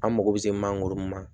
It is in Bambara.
An mako bɛ se mangoro ma